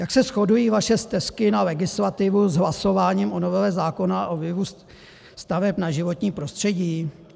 Jak se shodují vaše stesky na legislativu s hlasováním o novele zákona o vlivu staveb na životní prostředí?